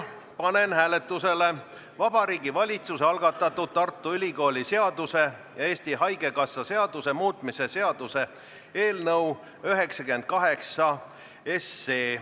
Panen hääletusele Vabariigi Valitsuse algatatud Tartu Ülikooli seaduse ja Eesti Haigekassa seaduse muutmise seaduse eelnõu 98.